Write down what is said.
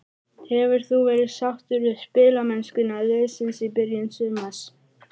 Hefur þú verið sáttur við spilamennskuna liðsins í byrjun sumars?